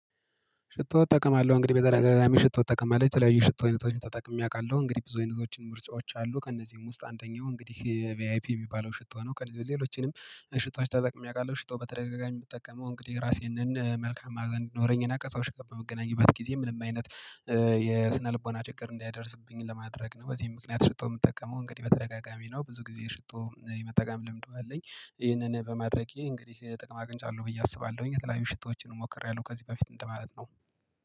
ሽቶ እጠቀማለሁ እንግዲህ በተደጋጋሚ ሽቶ እጠቀማለሁ የተለያዩ ሽቶ አይነቶችን ተጠቅሜ አውቃለሁ እንግዲህ ብዙ አይነቶችም ምርጫዎች አሉ ከእነዚህም ውስጥ አንደኛው እንግዲህ ቪአይፒ የሚባለው ሽቶ ነው ሌሎችንም ሽቶዎች ተጠቅሜ አውቃለሁ ሽቶ በተደጋጋሚ የምጠቀመው እንግዲህ የራሴን መልካም ማዕዛ እንድኖረኝ እና ከሰዎች ጋር በምገናኝበት ጊዜ ምንም አይነት የስነልቦና ችግር እንዳይደርስብኝ ለማድረግ ነው። በዚህም ምክንያት ሽቶ ምጠቀመው እንግዲህ በተደጋጋሚ ነው ብዙ ጊዜ ሽቶ የመጠቀም ልምዱ አለኝ። ይህንን በማድረጌ እንግዲህ ጥቅም አግንቻለሁ ብዬ አስባለሁኝ የተለያዩ ሽቶዎችን ሞክሬያለሁ ከዚህ በፊት እንደማለት ነው።